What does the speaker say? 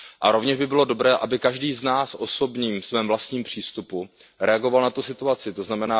Rovněž by bylo dobré, aby každý z nás ve svém vlastním přístupu reagoval na tu situaci, tzn.